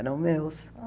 Eram meus.